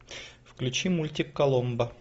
включи мультик коломбо